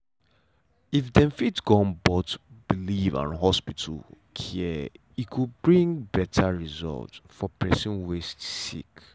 if dem fit gum both belief and hospital care e go bring better result for the person wey sick.